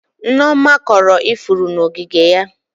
Nneoma kọrọ ifuru n'ogige ya.